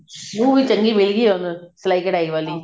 ਨੂੰਹ ਵੀ ਚੰਗੀ ਮਿਲ ਗਈ ਹੁਣ ਸਲਾਈ ਕਢਾਈ ਵਾਲੀ